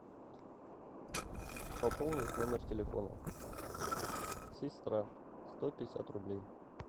пополнить номер телефона сестра сто пятьдесят рублей